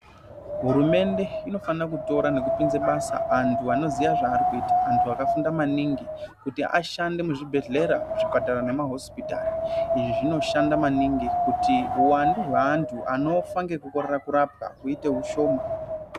Hurumende inofana kutora nekupinze basa antu anozive zvaarikuita antu akafunda maningi kuti ashande muzvibhedhlera zvipatara nemahosipitari izvi zvinoshanda maningi kuti uwandu hwevantu anofa ngekukorera kurapwa kuite kushoma.